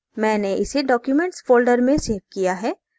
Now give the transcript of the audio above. मैंने इसे documents folder में सेव किया है